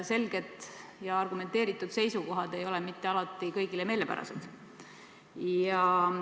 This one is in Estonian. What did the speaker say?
Selged ja argumenteeritud seisukohad ei ole mitte alati kõigile meelepärased.